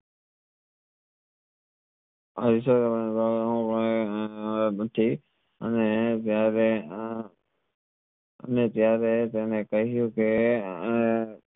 અને ત્યરેહ અને ત્યરેહ તને કહ્યું કે